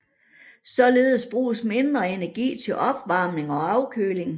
Således bruges mindre energi til opvarmning og afkøling